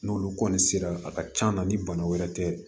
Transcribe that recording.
N'olu kɔni sera a ka can na ni bana wɛrɛ tɛ